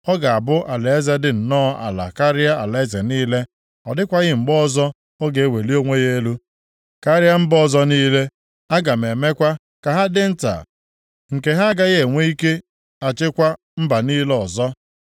Ọ ga-abụ alaeze dị nnọọ ala karịa alaeze niile. Ọ dịkwaghị mgbe ọzọ ọ ga-eweli onwe ya elu karịa mba ọzọ niile. Aga m emekwa ka ha dị nta, nke ha agaghị inwe ike achịkwa mba niile ọzọ.